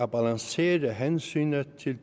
balancere hensynet til